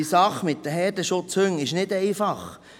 Die Sache mit den Herdenschutzhunden ist nicht einfach.